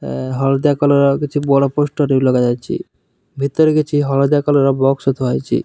ଏ ହଳଦିଆ କଲର୍ ର କିଛି ବଡ଼ ପୋଷ୍ଟର ଲଗା ଯାଇଛି। ଭିତରେ କିଛି ହଳଦିଆ କଲର୍ ର ବକ୍ସ ଥୁଆ ହେଇଛି।